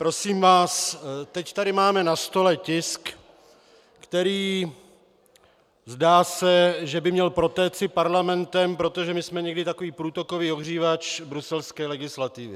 Prosím vás, teď tady máme na stole tisk, který, zdá se, že by měl protéci parlamentem, protože my jsme někdy takový průtokový ohřívač bruselské legislativy.